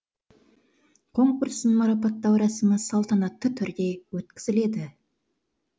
конкурстың марапаттау рәсімі салтанатты түрде өткізіледі